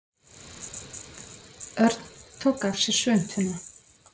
Örn tók af sér svuntuna.